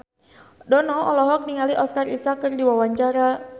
Dono olohok ningali Oscar Isaac keur diwawancara